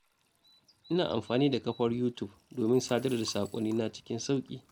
Ina amfani da kafar Yutub domin sadar da saƙonnina cikin sauƙi.